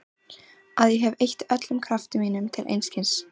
Að ég hef eytt öllum krafti mínum til einskis.